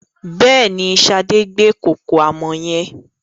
Bẹ́ẹ̀ni, Sade gbé kòkò àmọ̀ yẹn.